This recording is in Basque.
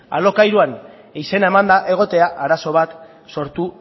alokairuan izena emanda egotea arazo bat sortu